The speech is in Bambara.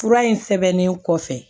Fura in sɛbɛnnen kɔfɛ